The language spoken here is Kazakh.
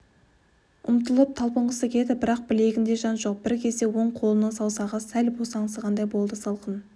ұмтылып талпынғысы келеді бірақ білегінде жан жоқ бір кезде оң қолының саусағы сәл босаңсығандай болды салқын